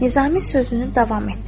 Nizami sözünü davam etdirdi.